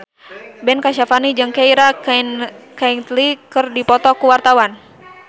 Ben Kasyafani jeung Keira Knightley keur dipoto ku wartawan